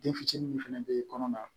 Den fitinin min fana bɛ kɔnɔna